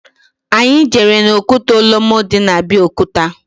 Anyị jere n'okwute Olumo dị na Abiokuta